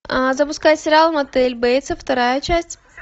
а запускай сериал мотель бейтсов вторая часть